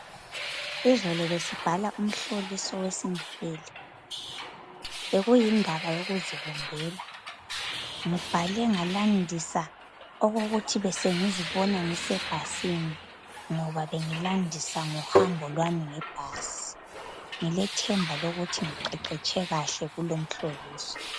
Izolo besibhala umhloliso wesiNdebele bekuyindaba yokuzibumbela. Ngibhale ngalandisa okokuthi besengizibona ngisebhasini, ngoba bengilandisa ngohambo lwami ngebhasi. Ngilethemba lokuthi ngiqeqetshe kahle kulomhloliso.